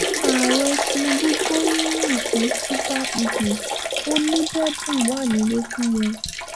ààrẹ tinubu gbóríyìn fún super eagles ó níbẹ̀bùn wà nílẹ̀ fún wọn